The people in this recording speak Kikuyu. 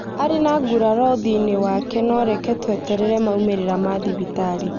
Arī na ngūraro ūthio-ini wake nõ reke tueterere maumīrira ma thibitarī